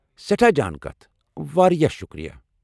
سیٹھاہ جان کتھ ! واریاہ شکریہ!